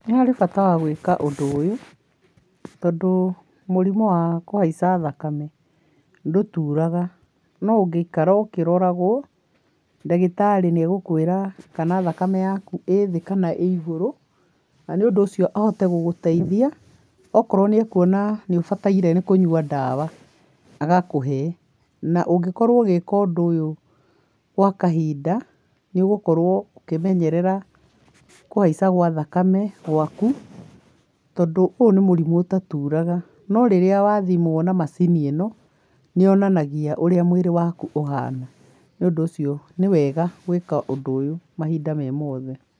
Nĩ harĩ bata wa gwĩka ũndũ ũyũ, tondũ mũrimũ wa kuhaica thakame ndũturaga, no ũngĩikara ũkĩroragwo, ndagĩtarĩ nĩ agũkwĩra kana thakame yaku ĩ thĩ kana ĩ igũrũ, na nĩ undũ ũcio ahote gũgũteithia akorwo nĩ akuona nĩ ũbataire nĩ kũnywa ndawa agakũhe, na ũngĩkorwo ũgĩka ũndũ ũyũ gwa kahinda, nĩ ũgũkorwo ũkĩmenyerera kũhaica gwa thakame gwaku, tondũ ũyũ nĩ mũrimũ ũtaturaga, no rĩrĩa wathimwo na macini ĩno, nĩ yonanagia ũrĩa mwĩrĩ waku ũhana, nĩ ũndũ ũcio nĩ wega gwĩka ũndũ ũyũ mahinda me mothe.